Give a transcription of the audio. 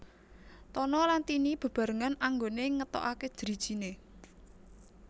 Tono lan Tini beberangan anggone ngetokake drijine